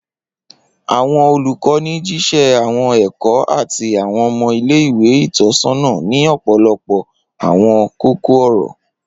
Awọn olukọni jiṣẹ awọn ẹkọ ati awọn ọmọ ile-iwe itọsọna ni ọpọlọpọ awọn koko-ọrọ.